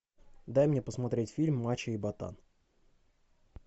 дай мне посмотреть фильм мачо и ботан